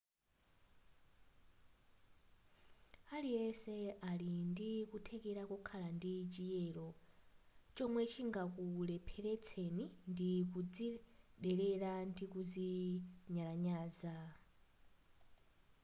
aliyense ali ndikuthekera kokhala ndi chiyero chomwe chingakulepheletseni ndi kuzidelera ndi kunyalanyaza